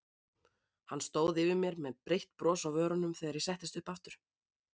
Hann stóð yfir mér með breitt bros á vörunum þegar ég settist upp aftur.